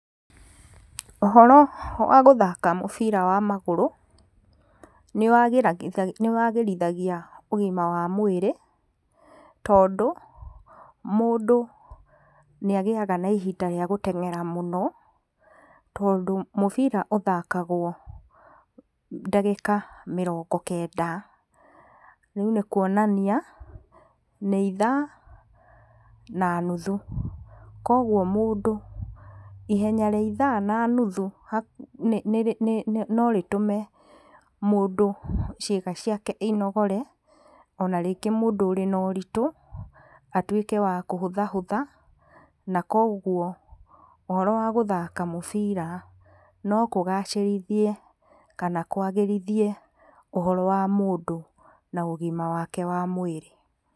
Ũhoro wa gũthaka mũbira wa magũrũ nĩ wagĩrithagia ũgima wa mwĩrĩ tondũ mũndũ nĩ agĩaga na ihinda rĩa gũteng'era mũno tondũ mũbira ũthakagwo ndagĩka mĩrongo kenda. Rĩu nĩ kuonania nĩ ithaa na nuthu koguo mũndũ ihenya rĩa ithaa na nuthu no rĩtũme mũndũ ciĩga ciake inogore, ona rĩngĩ mũndũ ũrĩ na ũritũ atuĩke wa kũhũthahũtha na koguo ũhoro wa gũthaka mũbira no kũgacĩrithie kana kwagĩrithie ũhoro wa mũndũ na ũgima wake wa mwĩrĩ.